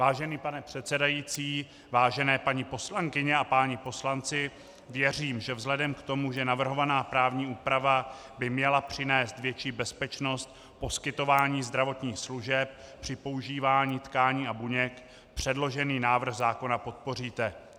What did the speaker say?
Vážený pane předsedající, vážené paní poslankyně a páni poslanci, věřím, že vzhledem k tomu, že navrhovaná právní úprava by měla přinést větší bezpečnost poskytování zdravotních služeb při používání tkání a buněk, předložený návrh zákona podpoříte.